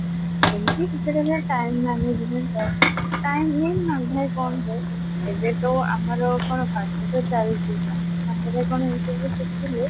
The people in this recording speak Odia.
ଏମିତି କିଛି ନା କିଛି time management ଆଉ time ହୁଏନି ନା କମ ହୁଏ ଏବେତ ଆମର କଣ ପାଠତ ଚାଲିଛି ପାଠ ସାଙ୍ଗରେ କଣ ଏଇସବୁ ଶିଖିଲେ